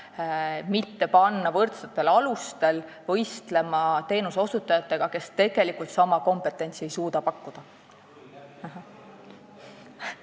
Ei ole vaja panna neid teenuseosutajaid võrdsetel alustel võistlema teenuseosutajatega, kes tegelikult sama kompetentsi pakkuda ei suuda.